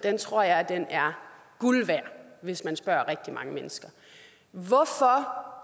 tror jeg er guld værd hvis man spørger rigtig mange mennesker hvorfor